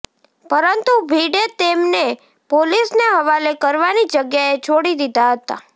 પરંતુ ભીડે તેમને પોલીસને હવાલે કરવાની જગ્યાએ છોડી દીધા હતાં